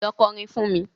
Lọ kọrin fún mi.